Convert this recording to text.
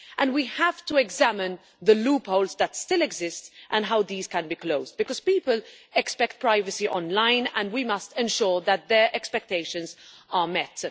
We have to examine the loopholes that still exist and how these can be closed, because people expect privacy online and we must ensure that their expectations are met.